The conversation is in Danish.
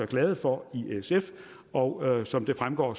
glade for i sf og som det fremgår